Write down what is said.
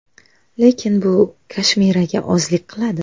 Lekin bu Kashmiraga ozlik qiladi.